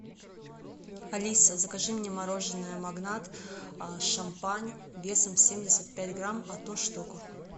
алиса закажи мне мороженое магнат шампань весом семьдесят пять грамм одну штуку